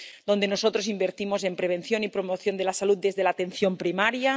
donde nosotros invertimos en prevención y promoción de la salud desde la atención primaria